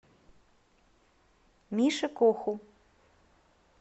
мише коху